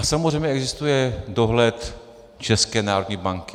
A samozřejmě existuje dohled České národní banky.